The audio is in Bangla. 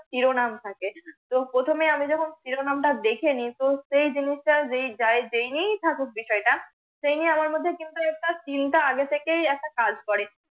শিরনাম থাকে তো প্রথমেই আমি যখন শিরোনামটা দেখে নিতুম, সেই জিনিসটা যে যায় জেনেই থাকুক বিষয়টা সেই নিয়ে আমার মধ্যে কিন্তু একটা চিন্তা আগে থেকেই একটা কাজ করে